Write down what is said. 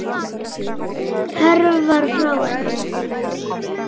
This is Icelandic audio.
Hörfar frá henni.